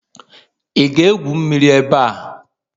Ị ga-egwu mmiri ebe a?